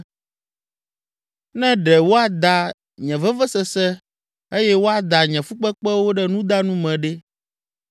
“Ne ɖe woada nye vevesese eye woada nye fukpekpewo ɖe nudanu me ɖe!